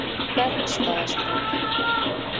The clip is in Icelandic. Bergstaðastræti